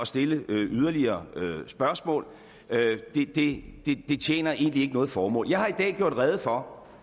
stille yderligere spørgsmål det tjener egentlig ikke noget formål jeg har i dag gjort rede for